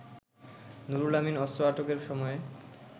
নুরুল আমিন অস্ত্র আটকের সময়ে